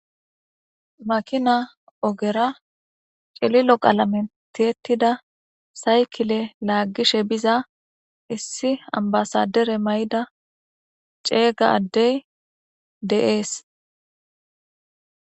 Makina ogera cililo qalamera tiyetida saykile laagishe biza,issi ambasaadere mayida ceega addeyi de'eesi.